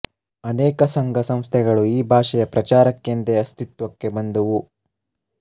ಅನೇಕ ಸಂಘ ಸಂಸ್ಥೆಗಳು ಈ ಭಾಷೆಯ ಪ್ರಚಾರಕ್ಕೆಂದೇ ಅಸ್ತಿತ್ವಕ್ಕೆ ಬಂದುವು